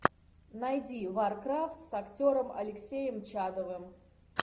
найди варкрафт с актером алексеем чадовым